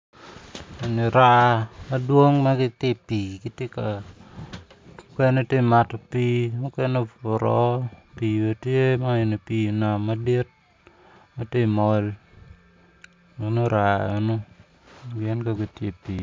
Eni raa madwong ma gitye i pii mukene gitye ka mato pii mukene obuto woko. Man eni pii nam madit ma tye ka mol meno raa eno gin kono gitye i pii.